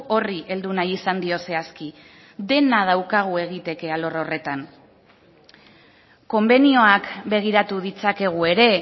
horri heldu nahi izan dio zehazki dena daukagu egiteke alor horretan konbenioak begiratu ditzakegu ere